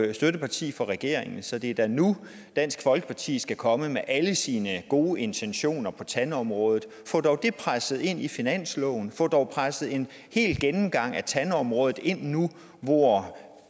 jo støtteparti for regeringen så det er da nu dansk folkeparti skal komme med alle sine gode intentioner på tandområdet få dog det presset ind i finansloven få dog presset en hel gennemgang af tandområdet ind nu hvor